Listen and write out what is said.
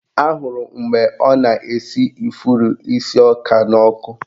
Ahụrụ m mgbe ọ na-esi ifuru isi ọka n'ọkụ